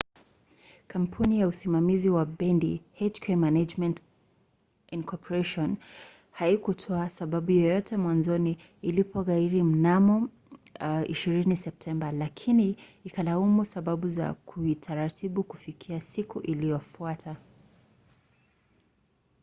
kampuni ya usimamizi wa bendi hk management inc. haikutoa sababu yoyote mwanzoni ilipoghairi mnamo 20 septemba lakini ikalaumu sababu za kiutaratibu kufikia siku iliyofuata